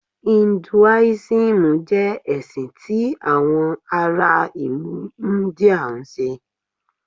Hinduism jẹ ẹsin ti awọn ara ilu India nṣe.